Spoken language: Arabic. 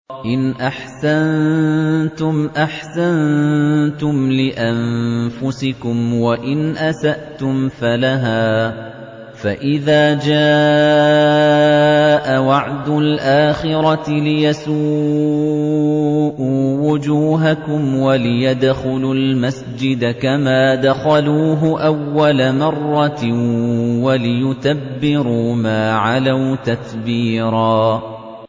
إِنْ أَحْسَنتُمْ أَحْسَنتُمْ لِأَنفُسِكُمْ ۖ وَإِنْ أَسَأْتُمْ فَلَهَا ۚ فَإِذَا جَاءَ وَعْدُ الْآخِرَةِ لِيَسُوءُوا وُجُوهَكُمْ وَلِيَدْخُلُوا الْمَسْجِدَ كَمَا دَخَلُوهُ أَوَّلَ مَرَّةٍ وَلِيُتَبِّرُوا مَا عَلَوْا تَتْبِيرًا